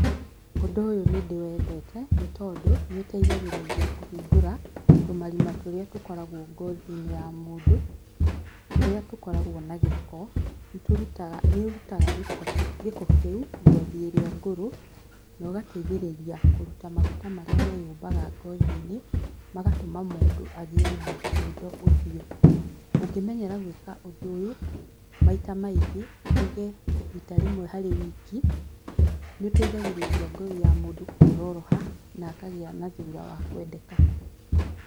Ũndũ ũyũ nĩ ndĩwendete nĩtondũ, nĩũteithagĩrĩria kũhingũra, tũmarima tũrĩa tũkoragwo ngothi-inĩ ya mũndũ, tũrĩa tũkoragwo na gĩko, nĩ tũrutaga, nĩũrutaga gĩko gĩko kĩu, ngothi ĩrĩa ngũrũ na ũgateithĩrĩria kũruta maguta marĩa meyũmbaga ngothi-inĩ, magatũma mũndũ agĩe na thundo ũthio, ũngĩmenyera gwĩka ũndũ ũyũ, maita maingĩ, tuge rita rĩmwe harĩ wiki, nĩ ũteithagĩrĩria ngothi ya mũndũ kuororoha na akagĩa na thura wa kwendeka.